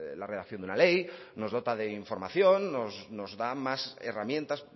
la redacción de una ley nos dota de información nos da más herramientas